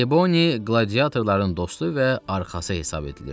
Triboni qladiatorların dostu və arxası hesab edilirdi.